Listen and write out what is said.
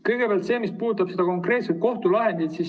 Kõigepealt see, mis puudutab konkreetset kohtulahendit.